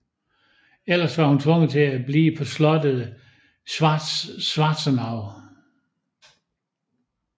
Ellers var hun tvunget til at blive på slottet Schwarzenau